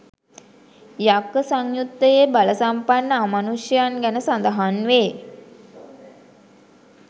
යක්ඛ සංයුත්තයේ බලසම්පන්න අමනුෂ්‍යයන් ගැන සඳහන් වේ